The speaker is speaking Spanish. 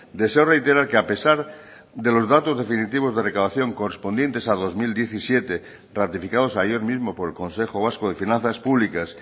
deseo reiterar que a pesar de los datos definitivos de recaudación correspondientes a dos mil diecisiete ratificados ayer mismo por el consejo vasco de finanzas públicas